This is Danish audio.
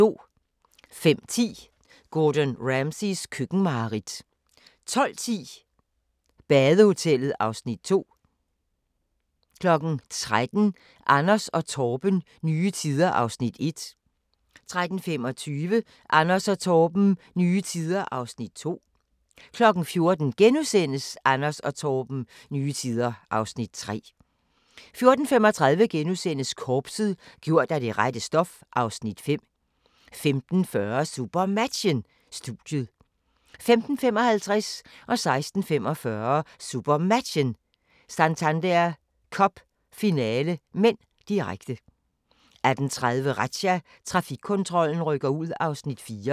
05:10: Gordon Ramsays køkkenmareridt 12:10: Badehotellet (Afs. 2) 13:00: Anders & Torben – nye tider (Afs. 1) 13:25: Anders & Torben – nye tider (Afs. 2) 14:00: Anders & Torben – nye tider (Afs. 3)* 14:35: Korpset – gjort af det rette stof (Afs. 5)* 15:40: SuperMatchen: Studiet 15:55: SuperMatchen: Santander Cup - finale (m), direkte 16:45: SuperMatchen: Santander Cup - finale (m), direkte 18:30: Razzia – Trafikkontrollen rykker ud (Afs. 4)